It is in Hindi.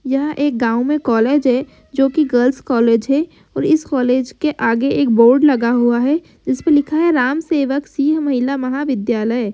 यह एक गाँव में कोलेज है जो की गर्ल्स कॉलेज है। और इस कॉलेज के आगे एक बोर्ड लगा हुआ है। उसपे लिखा है राम सेवक सिंह महिला महाविद्यालय।